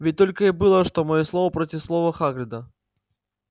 ведь только и было что моё слово против слова хагрида